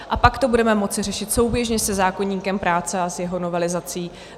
A pak to budeme moci řešit souběžně se zákoníkem práce a s jeho novelizací.